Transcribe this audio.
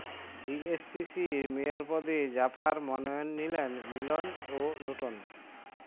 ডিএসসিসির mayor পদে জাপার মনোনয়ন নিলেন মিলন ও লোটন